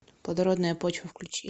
плодородная почва включи